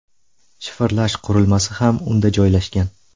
Shifrlash qurilmasi ham unda joylashgan.